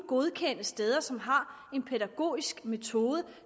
godkende steder som har en pædagogisk metode